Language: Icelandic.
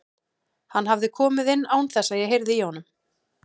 Hann hafði komið inn án þess að ég heyrði í honum.